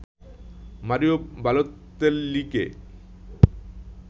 Mario বালোতেল্লিকে